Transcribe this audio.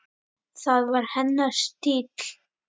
Það var hennar stíll.